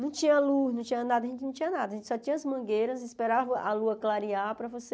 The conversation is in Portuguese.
Não tinha luz, não tinha nada, a gente não tinha nada, a gente só tinha as mangueiras e esperava a lua clarear para você...